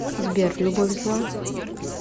сбер любовь зла